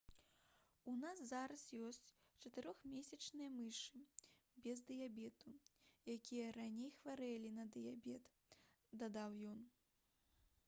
«у нас зараз ёсць 4-месячныя мышы без дыябету якія раней хварэлі на дыябет» — дадаў ён